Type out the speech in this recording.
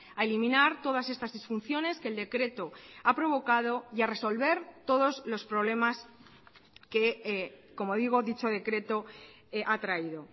a eliminar todas estas disfunciones que el decreto ha provocado y a resolver todos los problemas que como digo dicho decreto ha traído